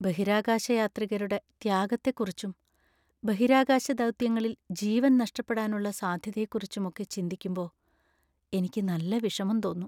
ബഹിരാകാശയാത്രികരുടെ ത്യാഗത്തെക്കുറിച്ചും, ബഹിരാകാശ ദൗത്യങ്ങളിൽ ജീവൻ നഷ്ടപ്പെടാനുള്ള സാധ്യതയെക്കുറിച്ചും ഒക്കെ ചിന്തിക്കുമ്പോ എനിക്ക് നല്ല വിഷമം തോന്നും .